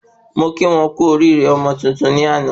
Mo kí wọ́n kú oríire ọmọ tuntun ní àná